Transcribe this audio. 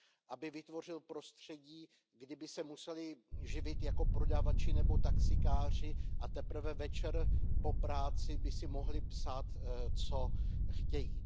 Aby vytvořil prostředí, kdy by se museli živit jako prodavači nebo taxikáři a teprve večer po práci by si mohli psát, co chtějí.